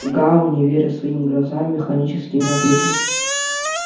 гаал не веря своим глазам механическими ответил